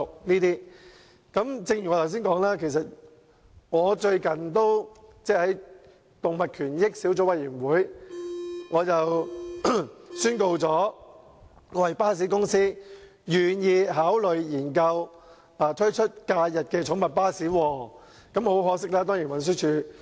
最近，在研究動物權益相關事宜小組委員會上，我宣告一間巴士公司願意考慮研究推出假日寵物巴士服務。